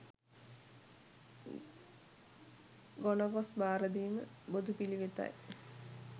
ගොනගොස් භාරදීම, බොදු පිළිවෙත යි.